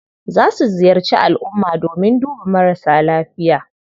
Za su ziyarci alumma domin duba marasa lafiya.